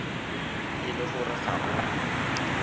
e le gore ga o